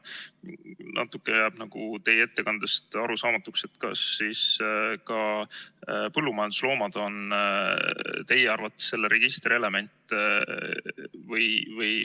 Natuke jääb teie ettekandest arusaamatuks, kas siis ka põllumajandusloomad on teie arvates selle registri element.